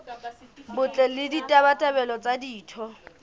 botle le ditabatabelo tsa ditho